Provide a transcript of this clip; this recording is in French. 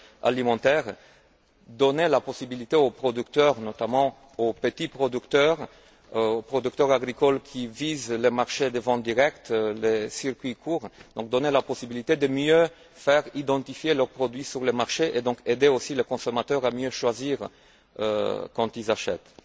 alimentaires, donner la possibilité aux producteurs, notamment aux petits producteurs, aux producteurs agricoles qui visent les marchés de vente directe, les circuits courts, de mieux faire identifier leurs produits sur les marchés et donc aider aussi les consommateurs à mieux choisir quand ils achètent.